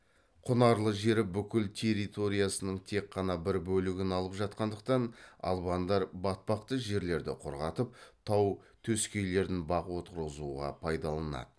құнарлы жері бүкіл территориясының тек қана бір бөлігін алып жатқандықтан албандар батпақты жерлерді құрғатып тау төскейлерін бақ отырғызуға пайдаланады